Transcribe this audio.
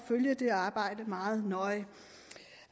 følge det arbejde meget nøje